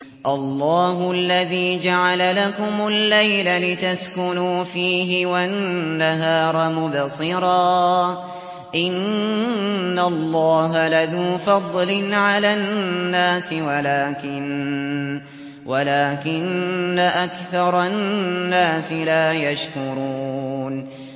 اللَّهُ الَّذِي جَعَلَ لَكُمُ اللَّيْلَ لِتَسْكُنُوا فِيهِ وَالنَّهَارَ مُبْصِرًا ۚ إِنَّ اللَّهَ لَذُو فَضْلٍ عَلَى النَّاسِ وَلَٰكِنَّ أَكْثَرَ النَّاسِ لَا يَشْكُرُونَ